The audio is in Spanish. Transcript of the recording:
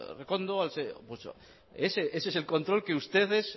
rekondo ese es el control que ustedes